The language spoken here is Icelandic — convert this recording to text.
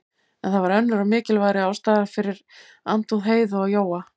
En það var önnur og mikilvægari ástæða fyrir andúð Heiðu á Jóa.